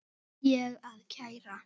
Ætti ég að kæra?